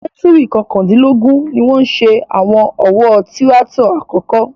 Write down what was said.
Sẹ́ńtúùrì kọkàndínlógún ni wọ́n ṣe àwọn ọ̀wọ́ tíráátọ̀ àkọ́kọ́.